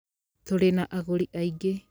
Tũrĩ na agũri aingĩ.